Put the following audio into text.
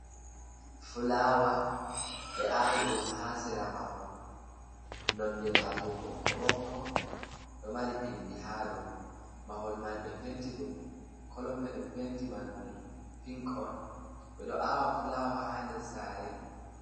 Fulawa, ɓe aawi ɗum haa sera mahol. Nonde majum ɓokko-ɓokko, ɗo mari pindi ha dou. Mahol man be penti ɗum, kolo penti man ɗum pink on. Ɓe ɗo aawa fulawa ha nder sare.